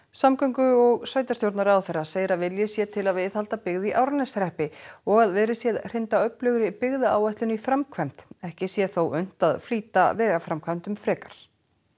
samgöngu og sveitarstjórnarráðherra segir að vilji sé til að viðhalda byggð í Árneshreppi og að verið sé að hrinda öflugri byggðaáætlun í framkvæmd ekki sé þó unnt að flýta vegaframkvæmdum frekar